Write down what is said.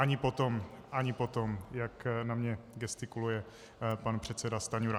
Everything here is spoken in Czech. Ani potom, ani potom, jak na mě gestikuluje pan předseda Stanjura.